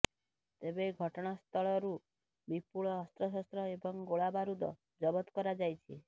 ତେବେ ଘଟଣାସ୍ଥଳରୁ ବିପୁଳ ଅସ୍ତ୍ରଶସ୍ତ୍ର ଏବଂ ଗୋଳା ବାରୁଦ ଜବତ କରାଯାଇଛି